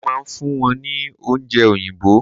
mo ma n fún wón ni oúnje oyinbo